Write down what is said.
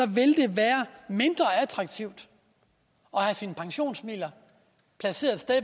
vil det være mindre attraktivt at have sine pensionsmidler placeret et sted